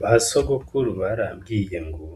Ba sogokuru barambwiye ngo